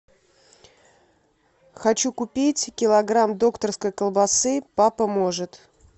хочу купить килограмм докторской колбасы папа может